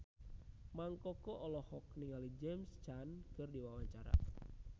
Mang Koko olohok ningali James Caan keur diwawancara